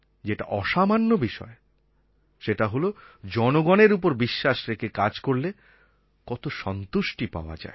যেটা অসামান্য বিষয় সেটা হল জনগণের ওপর বিশ্বাস রেখে কাজ করলে কত সন্তুষ্টি পাওয়া যায়